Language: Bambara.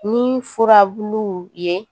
Ni furabulu ye